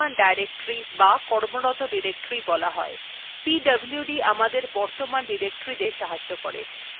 pwd command আমাদেরকে বর্তমান directory দেখতে সাহায্য করেন pwd অর্থাৎ present working directory